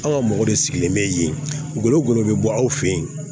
An ka mɔgɔ de sigilen bɛ yen gɔlɔ golo bɛ bɔ aw fɛ yen